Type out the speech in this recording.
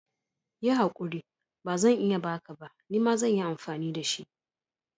Yi haƙuri, bazan iya baka ba, nima zan yi amfani da shi.